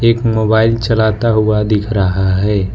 एक मोबाइल चलाता हुआ दिख रहा है।